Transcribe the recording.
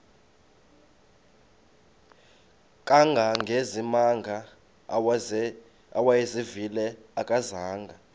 kangangezimanga awayezivile akazanga